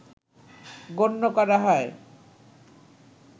গণ্য করা হয়